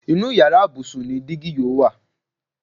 Inú yàrá ibùsùn ni dígí yóò wà